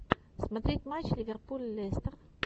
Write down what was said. смотреть матч ливерпуль лестер